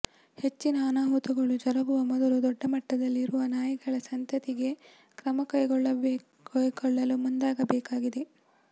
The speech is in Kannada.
ಹೆಚ್ಚಿನ ಅನಾಹುತಗಳು ಜರಗುವ ಮೊದಲು ದೊಡ್ಡ ಮಟ್ಟದಲ್ಲಿ ಇರುವ ನಾಯಿಗಳ ಸಂತತಿಗೆ ಕ್ರಮ ಕೈಗೊಳ್ಳಲು ಮುಂದಾಗಬೇಕಿದೆ